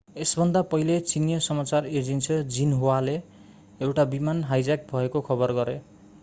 यसभन्दा पहिले चिनियाँ समाचार एजेन्सी xinhuaले एउटा विमान हाइज्याक भएको खबर गरे।